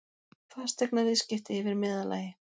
Fasteignaviðskipti yfir meðallagi